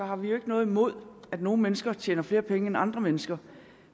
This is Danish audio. har vi jo ikke noget imod at nogle mennesker tjener flere penge end andre mennesker